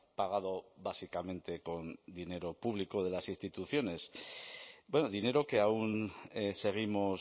pagado básicamente con dinero público de las instituciones dinero que aún seguimos